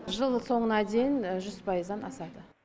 жыл соңына дейін жүз пайыздан асады